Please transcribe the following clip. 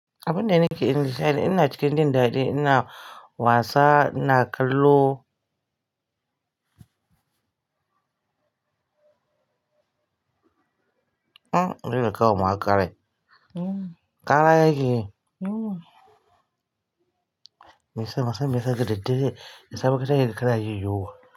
Abun da nake ni sha'ni, ina cikin jin daɗi, ina wasa, ina kallo. Hm, yana kawo maka rai. Hm. Ƙara yake. Hm. Meye sa masa, me ya sa gida dare? Me ya sa muka je kana jin yunwa?